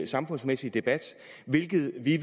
samfundsmæssige debat hvilket vi